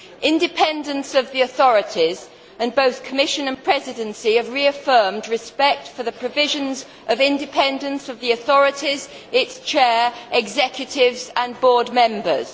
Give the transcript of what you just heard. Concerning the independence of the authorities, both the Commission and the Presidency have reaffirmed respect for the provisions of independence of the authorities, their chairs, executives and board members.